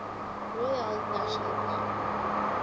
royale national park